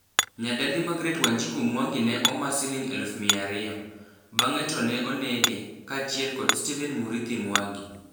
Nyadendi Margaret Wanjiku Mwangi ne oma siling eluf mia ario. Bange to ne onege, kaachiel kod Stephen Murithi Mwangi.